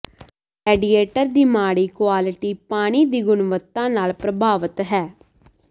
radiator ਦੀ ਮਾੜੀ quality ਪਾਣੀ ਦੀ ਗੁਣਵੱਤਾ ਨਾਲ ਪ੍ਰਭਾਵਤ ਹੈ